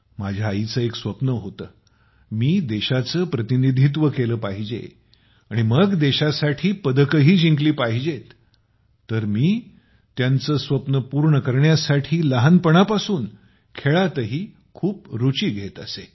माझ्या आईचं एक स्वप्न होत मी देशाच प्रतिनिधित्व केलं पाहिजे आणि मग देशासाठी पदकंही जिंकली पाहिजेत तर मी त्याचं स्वप्न पूर्ण करण्यासाठी लहानपणापासून खेळातही खूप रुची घेत असे